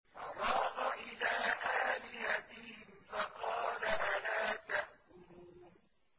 فَرَاغَ إِلَىٰ آلِهَتِهِمْ فَقَالَ أَلَا تَأْكُلُونَ